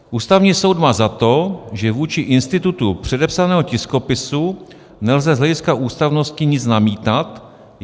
"Ústavní soud má za to, že vůči institutu předepsaného tiskopisu nelze z hlediska ústavnosti nic namítat.